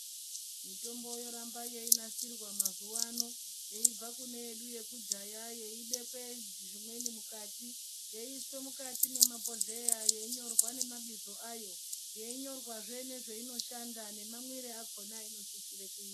Mitombo yoramba yeinasirwa mazuwa ano yeibva kune yedu yekudhaya yeibekwe zvimweni mukati yeiiswe mukati memabhohleya yeinyorwa nemabizo ayo yeinyorwazve nezvainoshanda nemamwire akona ainosisire kuitwa.